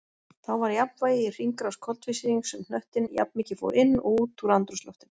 Þá var jafnvægi í hringrás koltvísýrings um hnöttinn, jafnmikið fór inn og út úr andrúmsloftinu.